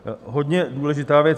Hodně důležitá věc.